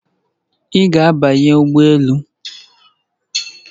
Ị ga-abanye ụgbọ elu?